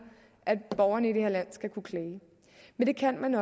at borgerne i det her land skal kunne klage og det kan man